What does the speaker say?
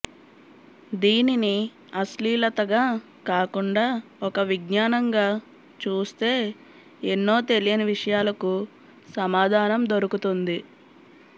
దీనిని అశ్లీలతగా కాకుండా ఒక విజ్ఞానంగా చూస్తే ఎన్నో తెలియని విషయాలకు సమాధానం దొరుకుతుంది